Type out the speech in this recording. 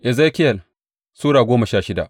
Ezekiyel Sura goma sha shida